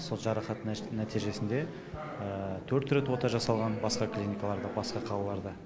сол жарақат нәтижесінде төрт рет ота жасалған басқа клиникаларда басқа қалаларда